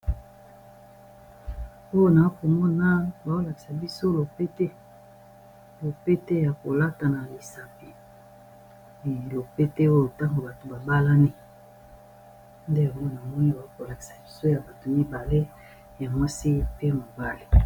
mpoyo naa komona baolatisa biso lopete ya kolata na lisake lopete oyo ntango bato babalani nde po na moni bakolatisa biso ya bato mibale ya mwasi pe mabale